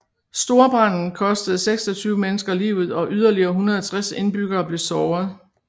Storbranden kostede 26 mennesker livet og yderligere 160 indbyggere blev såret